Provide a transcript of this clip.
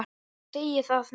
Ég segi það nú!